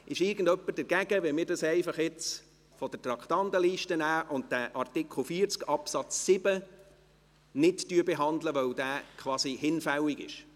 Ist jemand dagegen, wenn wir dies von der Traktandenliste nehmen und den Artikel 40 Absatz 7 nicht behandeln, weil er hinfällig ist?